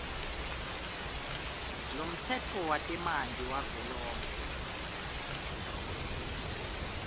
lomtsetfo wetemanti wavelonkhe